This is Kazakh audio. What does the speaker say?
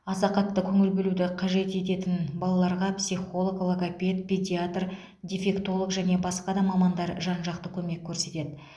аса қатты көңіл бөлуді қажет ететін балаларға психолог логопед педиатр дефектолог және басқа да мамандар жан жақты көмек көрсетеді